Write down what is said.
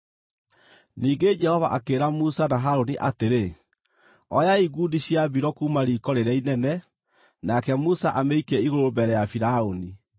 Ningĩ Jehova akĩĩra Musa na Harũni atĩrĩ, “Oyai ngundi cia mbiro kuuma riiko rĩrĩa inene, nake Musa amĩikie igũrũ mbere ya Firaũni.